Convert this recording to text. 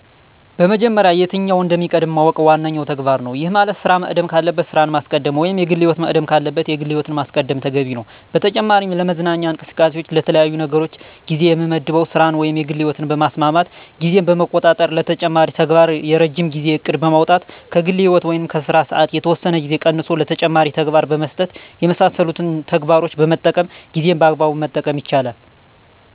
በመጀመሪያ የትኛው እንደሚቀድም ማወቅ ዋነኛው ተግባር ነው። ይህ ማለት ስራ መቅደም ካለበት ስራን ማስቀደም ወይም የግል ህይወት መቅደም ካለበት የግል ህይወትን ማስቀደም ተገቢ ነው። በተጨማሪ ለመዝናኛ እንቅስቃሴዎች ለተለያዩ ነገሮች ጊዜ የምመድበው ስራን ወይም የግል ህይወትን በማስማማት ጊዜን በመቆጣጠር ለተጨማሪ ተግባር የረጅም ጊዜ እቅድ በማውጣት ከግል ህይወት ወይም ከስራ ሰዓት የተወሰነ ጊዜ ቀንሶ ለተጨማሪ ተግባር በመስጠት የመሳሰሉትን ተግባሮችን በመጠቀም ጊዜን በአግባቡ መጠቀም ይቻላል።